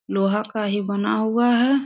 लोहा का ही बना हुआ है।